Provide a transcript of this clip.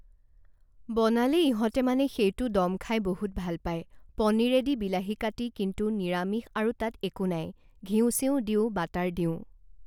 বনালে ইহঁতে মানে সেইটো ডম খাই বহুত ভাল পায় পনীৰেদি বিলাহি কাটি কিন্তু নিৰামিষ আৰু তাত একো নাই, ঘিঁউ চিউ দিওঁ বাটাৰ দিওঁ